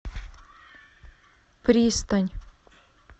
пристань